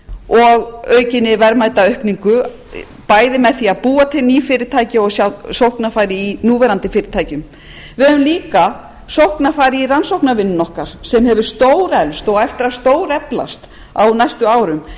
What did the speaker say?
og aukinni verðmætaaukningu bæði með því að búa til ný fyrirtæki og sjá sóknarfæri í núverandi fyrirtækjum við höfum líka sóknarfæri í rannsóknarvinnunni okkar sem hefur stóreflst og á eftir að stóreflast á næstu árum ég